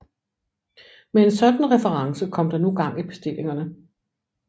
Med en sådan reference kom der nu gang i bestillingerne